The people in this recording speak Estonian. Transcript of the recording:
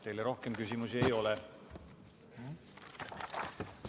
Teile rohkem küsimusi ei ole.